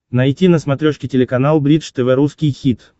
найти на смотрешке телеканал бридж тв русский хит